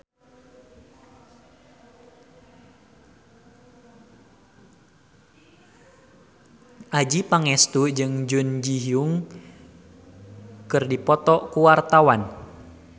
Adjie Pangestu jeung Jun Ji Hyun keur dipoto ku wartawan